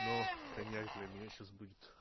но коньяк для меня сейчас будет